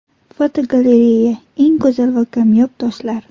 Fotogalereya: Eng go‘zal va kamyob toshlar.